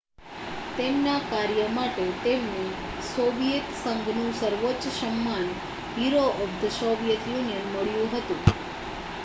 "તેમના કાર્ય માટે તેમને સોવિયેત સંઘનું સર્વોચ્ચ સન્માન "hero of the Soviet Union" મળ્યું હતું.